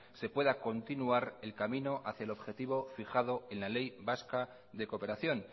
se pueda continuar el camino hacia el objetivo fijado en la ley vasca de cooperación